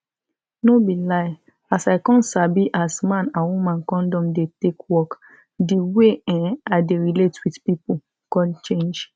no be lie as i come sabi as man and woman condom dey take work di way[um]i dey relate with pipu come change